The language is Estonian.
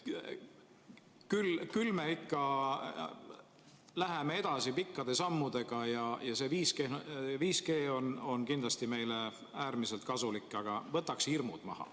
Küll me ikka läheme edasi pikkade sammudega ja see 5G on kindlasti meile äärmiselt kasulik, aga võtaks enne hirmud maha.